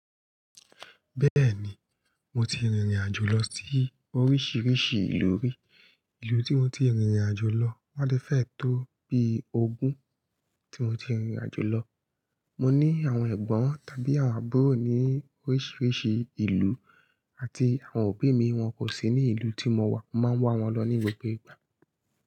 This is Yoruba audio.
Bẹ́ẹ̀ni, mo ti rìnrìn àjò lọ sí oríṣìíríṣìí ìlú rí. Ìlú tí mo ti rìnrìn àjò lọ máa ń de fẹ̀ tó bí ogún. Tí mo ti rìnrìn àjò lọ, mo ní àwọn ẹ̀gbọ́n tàbí àwọn àbúrò ní oríṣìíríṣìí ìlú àti àwọn òbí mi wọ́n kò sí ní ìlú tí mo wà, mo máa ń wà wọ́n lọ ní gbogbo ìgbà.